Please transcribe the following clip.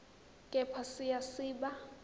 kepha siya siba